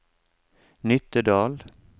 Nittedal